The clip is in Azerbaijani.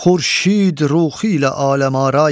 Xurşid ruxu ilə aləmara ay.